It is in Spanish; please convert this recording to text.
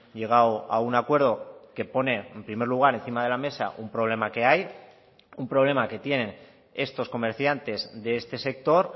llegado a un acuerdo que pone en primer lugar encima de la mesa un problema que hay un problema que tienen estos comerciantes de este sector